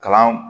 Kalan